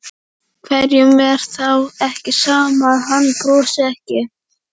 Hverjum er þá ekki sama að hann brosi ekki?